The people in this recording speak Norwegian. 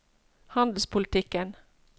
handelspolitikken